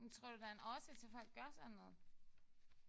Men tror du der er en årsag til at folk gør sådan noget?